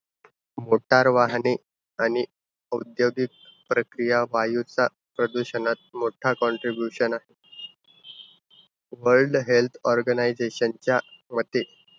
Motor वाहने आणि औद्योगिक प्रति या वायुचा प्रदूषणात मोठा contribution आहे. वर्ल्ड हेल्थ ऑर्गनाईझेशन च्या मते,